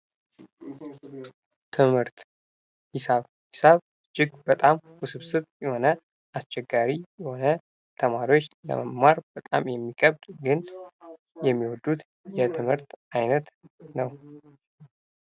ትምህርት ሂሳብ። ሂሳብ እጅግ በጣም ውስብስብ፣ የሆነ አስቸጋሪ የሆነ ፣ተማሪዎች ለመማር በጣም የሚከብድ ግን የሚወዱት የትምህርት አይነት ነው ።